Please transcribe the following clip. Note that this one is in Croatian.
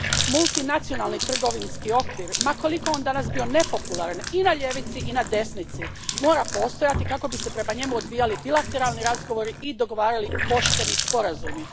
Multinacionalni trgovinski okvir, ma koliko on danas bio nepopularan i na ljevici i na desnici, mora postojati kako bi se prema njemu odvijali bilateralni razgovori i dogovarali pošteni sporazumi.